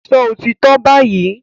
Sọ òtítọ́ báyìí!